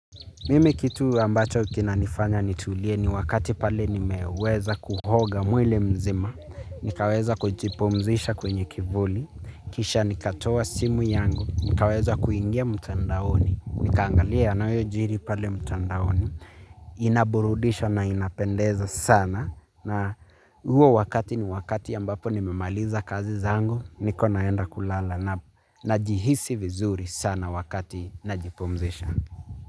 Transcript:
Mimi kitu ambacho kina nifanya nitulie ni wakati pale nimeweza kuhoga mwili mzima. Nikaweza kujipumzisha kwenye kivuli. Kisha nikatoa simu yangu. Nikaweza kuingia mtandaoni. Nikaangalia yanayojiri pale mtandaoni. Inaburudisha na inapendeza sana. Na huo wakati ni wakati ambapo nimemaliza kazi zangu. Niko naenda kulala najihisi vizuri sana wakati najipumzisha.